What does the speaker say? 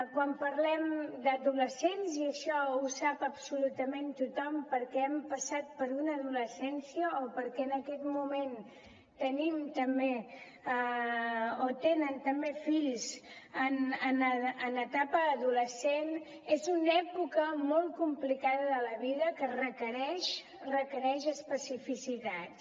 quan parlem d’adolescents i això ho sap absolutament tothom perquè hem passat per una adolescència o perquè en aquest moment tenim també o tenen també fills en etapa adolescent és una època molt complicada de la vida que requereix especificitats